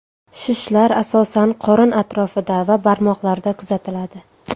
Shishlar asosan qorin atrofida va barmoqlarda kuzatiladi.